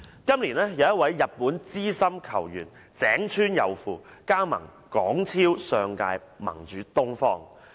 今年有一位日本資深球員井川祐輔加盟香港超級聯賽上屆盟主"東方"。